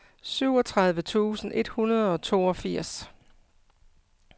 syvogtredive tusind et hundrede og toogfirs